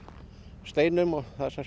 steinum og